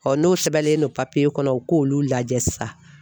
n'o sɛbɛnlen don kɔnɔ u k'olu lajɛ sisan